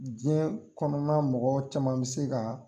Diɲɛ kɔnɔna mɔgɔw caman bɛ se ka.